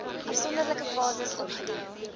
afsonderlike fases opgedeel